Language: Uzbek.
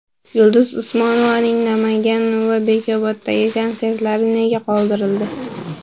Yulduz Usmonovaning Namangan va Bekoboddagi konsertlari nega qoldirildi?.